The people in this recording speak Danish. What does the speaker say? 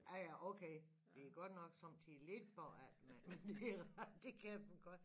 Ja ja okay vi godt nok sommetider lidt bagud men men det ret det kan man godt